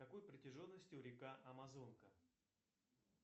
какой протяженностью река амазонка